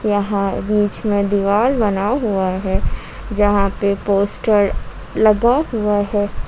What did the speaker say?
यहां बीच में दीवार बना हुआ है जहां पर पोस्टर लगा हुआ है।